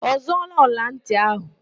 Ọ zụọọla ọlantị ahụ?